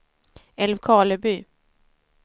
Älvkarleby